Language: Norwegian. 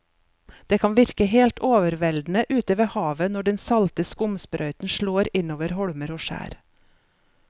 Det kan virke helt overveldende ute ved havet når den salte skumsprøyten slår innover holmer og skjær.